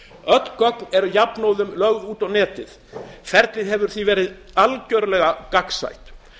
öll gögn eru jafnóðum lögð út á netið og ferlið hefur því verið algjörlega gagnsætt